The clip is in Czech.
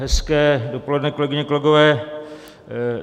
Hezké dopoledne, kolegyně, kolegové.